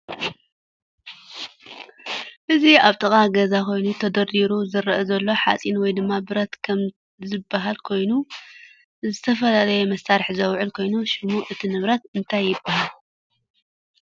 እዚ አብ ጥቃ ገዛ ኮይኑ ተደሪድሩ ዝረአ ዘሎ ሓፂን ወይ ድማ ብረት ከም ዝባሃል ኮይኑ ነዝተፈላለዪ መሰርሕ ዝውዕል ኮይኑ ሽም እቲ ነብረት እንታይ ይባሃል?